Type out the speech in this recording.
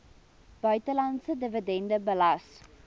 buitelandse dividende belas